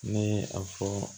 Ne ye a fɔ